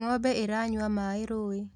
Ng'ombe iranyua maĩ rũĩ